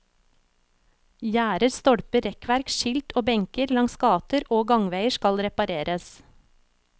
Gjerder, stolper, rekkverk, skilt og benker langs gater og gangveier skal repareres.